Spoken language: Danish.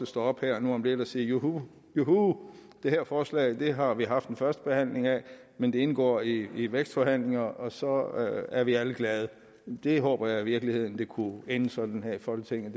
sig op her nu om lidt og sige juhu det her forslag har vi haft en første behandling af men det indgår i vækstforhandlingerne og så er vi alle glade jeg håber i virkeligheden det kunne ende sådan her i folketinget